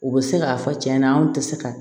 U bɛ se k'a fɔ cɛn na anw tɛ se ka